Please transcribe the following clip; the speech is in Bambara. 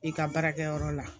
I ka baarakɛyɔrɔ la